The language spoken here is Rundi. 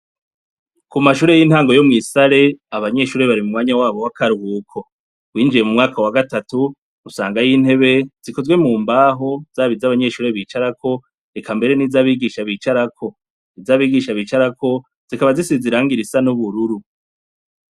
Ku mashure y'intango yo mw'Isare, abanyeshure bari mu mwanya wabo w'akaruhuko. Winjiye mu mwaka wa gatatu usangayo intebe zikozwe mu mbaho, zaba iz'abanyeshure bicara ko eka mbere zaba iz'abigisha bicara ko. Iz'abigisha bicara ko zikaba zisize irangi ry'ubururu.